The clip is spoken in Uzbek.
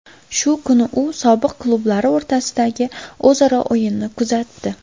Shu kuni u sobiq klublari o‘rtasidagi o‘zaro o‘yinni kuzatdi.